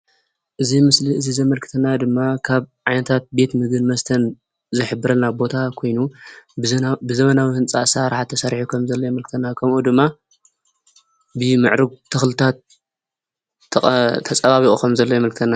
እዚ ምስሊ እዚ ዘመልክተና ድማ ካብ ዓይነታት ቤትምግብን መስተን ዝሕብረና ቦታ ኮይኑ ብዘመናዊ ህንፃ ኣሰራርሓ ተሰሪሑ ከምዘሎ የመልክተና። ከምኡ ድማ ብምዕሩግ ተክልታት ተፀባቢቁ ከምዘሎ የመልክተና።